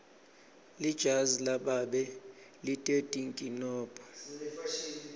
lijazi lababe lite tinkinombo